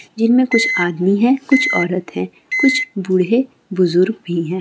जिनमे कुछ आदमी है कुछ औरत हैकुछ भुदढ़ाई बजुर्ग भी है।